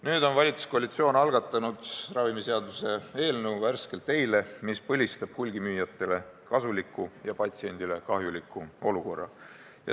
Nüüd on valitsuskoalitsioon algatanud ravimiseaduse eelnõu – värskelt eile –, mis põlistab hulgimüüjatele kasuliku ja patsientidele kahjuliku olukorra.